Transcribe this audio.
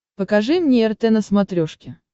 покажи мне рт на смотрешке